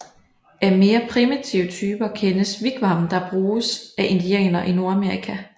Af mere primitive typer kendes wigwam der bruges af indianere i Nordamerika